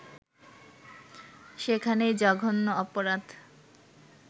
সেখানেই জঘন্য অপরাধ